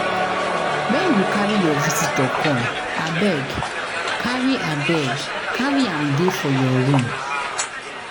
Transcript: Wen you carry your visitor come abeg carry abeg carry am dey for your room